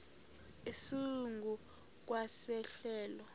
esingu kwa sehlelo